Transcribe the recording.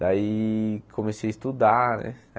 Daí comecei a estudar, né?